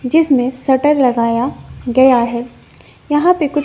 जिसमें शटर लगाया गया है यहां पे कुछ--